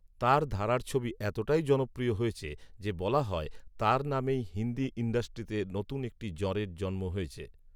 তাঁর ধারার ছবি এতটাই জনপ্রিয় হয়েছে যে বলা হয়, তাঁর নামেই হিন্দি ইন্ডাস্ট্রিতে নতুন একটি জ়ঁরের জন্ম হয়েছে